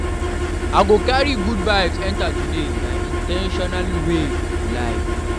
I go carry good vibes enter today; na in ten tional way to live.